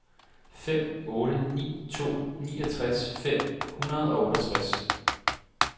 fem otte ni to niogtres fem hundrede og otteogtres